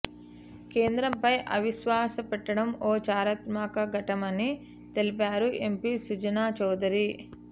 కేంద్రంపై అవిశ్వాస పెట్టడం ఓ చారిత్రాత్మక ఘట్టమని తెలిపారు ఎంపీ సుజనా చౌదరి